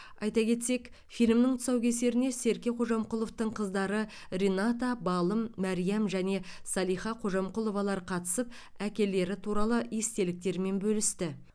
айта кетсек фильмнің тұсаукесеріне серке қожамқұловтың қыздары рената балым мәриам және салиха қожамқұловалар қатысып әкелері туралы естеліктерімен бөлісті